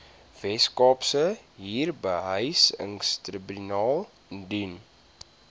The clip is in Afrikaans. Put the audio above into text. weskaapse huurbehuisingstribunaal indien